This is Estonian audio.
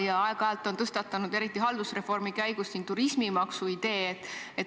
Ja aeg-ajalt on tõstatatud – eriti haldusreformi käigus – ka turismimaksu idee.